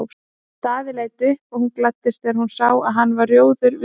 Daði leit upp og hún gladdist þegar hún sá að hann varð rjóður við fréttirnar.